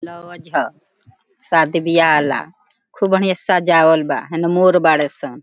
Lodge हअ शादी ब्याह वाला खूब बढ़िया से सजावल बा हेने मोर बाड़े सन।